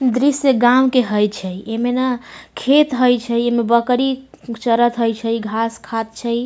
दृश्य गांव के होय छै एमे ना खेत हेय छै एमे बकरी चरएत हेय छैघास खात छै ।